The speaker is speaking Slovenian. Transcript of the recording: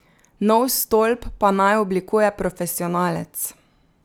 Nov stolp pa naj oblikuje profesionalec.